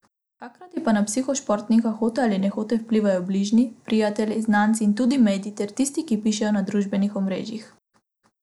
Hkrati pa na psiho športnika hote ali nehote vplivajo bližnji, prijatelji, znanci in tudi mediji ter tisti, ki pišejo na družbenih omrežjih.